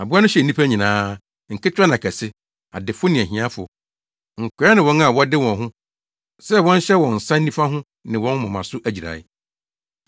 Aboa no hyɛɛ nnipa nyinaa, nketewa ne akɛse; adefo ne ahiafo, nkoa ne wɔn a wɔde wɔn ho sɛ wɔnhyɛ wɔn nsa nifa ho ne wɔn moma so agyirae.